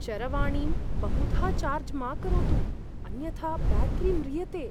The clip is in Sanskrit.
चरवाणीं बहुधा चार्ज् मा करोतु, अन्यथा ब्याटरी म्रियते।